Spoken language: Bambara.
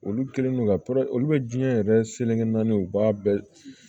Olu kɛlen don ka olu bɛ diɲɛ yɛrɛ selekegin naani u b'a bɛɛ